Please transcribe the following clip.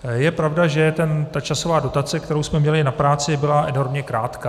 Je pravda, že ta časová dotace, kterou jsme měli na práci, byla enormně krátká.